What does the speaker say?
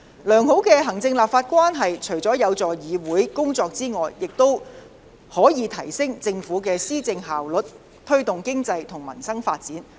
良好的行政立法關係除可有助議會的工作外，亦可提升政府的施政效率，推動經濟和民生發展。